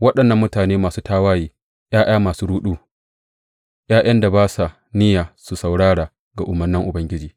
Waɗannan mutane masu tawaye, ’ya’ya masu ruɗu, ’ya’yan da ba sa niyya su saurara ga umarnan Ubangiji.